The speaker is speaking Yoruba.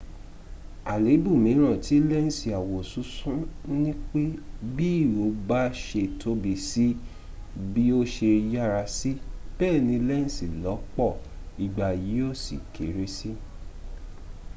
àléébù mìíràn tí lẹ́ǹsì àwosúnsún nipé bi ihò bà ṣe tóbi sí bí o ṣe yára sí bẹẹni lẹ́ǹsì lọ́pọ̀ ìgbà yíò sì kéré sí